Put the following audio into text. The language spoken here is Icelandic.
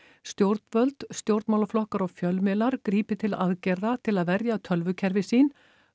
stjórnvöld stjórnmálaflokkar og fjölmiðlar grípi til aðgerða til að verja tölvukerfi sín